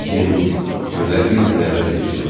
Lakin günlər bir-birini əvəz edirdi